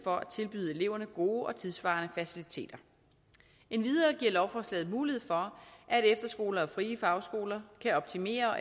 for at tilbyde eleverne gode og tidssvarende faciliteter endvidere giver lovforslaget mulighed for at efterskoler og frie fagskoler kan optimere og